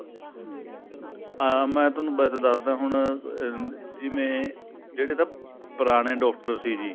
ਹਾਂ ਮੈਂ ਤੁਹਾਨੂੰ ਦਸਦਾ ਹੁਣ ਜਿਵੇਂ ਜਿਹੜੇ ਤਾਂ ਪੁਰਾਣੇ doctor ਸੀ ਜੀ